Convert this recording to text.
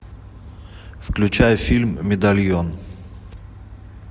включай фильм медальон